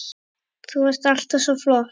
Þú varst alltaf svo flott.